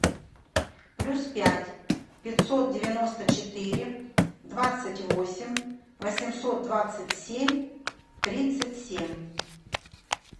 плюс пять пятьсот девяносто четыре двадцать восемь восемьсот двадцать семь тридцать семь